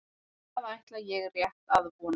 Það ætla ég rétt að vona